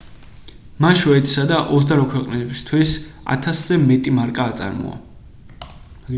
მან შვედეთისა და 28 ქვეყნებისთვის 1000-ზე მეტი მარკა აწარმოა